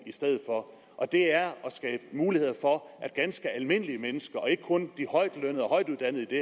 i stedet for og det er at skabe muligheder for at ganske almindelige mennesker og ikke kun de højtlønnede og højtuddannede i det